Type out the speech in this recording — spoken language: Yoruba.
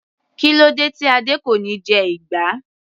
Kílódé tí Adé kò níí jẹ ìgbá.